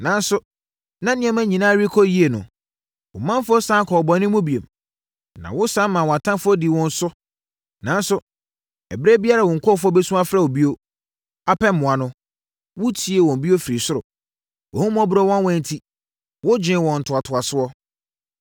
“Nanso, na nneɛma nyinaa rekɔ so yie no, wo manfoɔ sane kɔɔ bɔne mu bio, na wosane maa wɔn atamfoɔ dii wɔn so. Nanso, ɛberɛ biara a wo nkurɔfoɔ bɛsu afrɛ wo bio, apɛ mmoa no, wotiee bio firi ɔsoro. Wʼahummɔborɔ nwanwa enti, wogyee wɔn ntoatoasoɔ.